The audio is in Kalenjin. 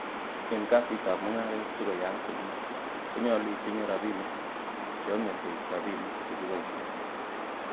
En kasisiekab mungaret sikoyaak komie, konyolu itinye rabinik che yome koik rabinik che kiboishen.